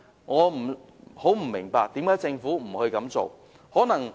我不明白為何政府沒有這樣做。